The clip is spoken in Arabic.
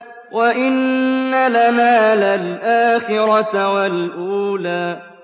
وَإِنَّ لَنَا لَلْآخِرَةَ وَالْأُولَىٰ